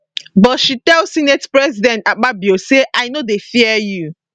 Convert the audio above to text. but she tell senate president akpabio say i no dey fear you